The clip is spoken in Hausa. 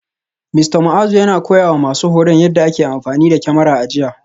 Mista Muazu yana koyawa masu horon yadda ake amfani da kyamara a jiya